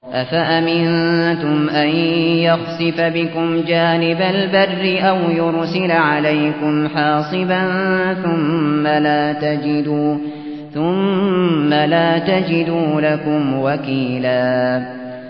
أَفَأَمِنتُمْ أَن يَخْسِفَ بِكُمْ جَانِبَ الْبَرِّ أَوْ يُرْسِلَ عَلَيْكُمْ حَاصِبًا ثُمَّ لَا تَجِدُوا لَكُمْ وَكِيلًا